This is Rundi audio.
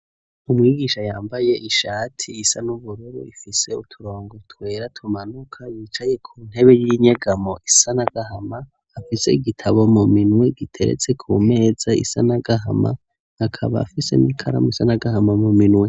Umwigisha yambaye ishati isa n'ubururu ifise uturongo twera tumanuka, yicaye ku ntebe y'inyegamo isa n'agahama, afise igitabo mu minwe giteretse ku meza isa n'agahama, akaba afise n'ikaramu isa n'agahama mu minwe.